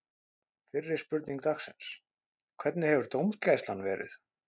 Fyrri spurning dagsins: Hvernig hefur dómgæslan verið?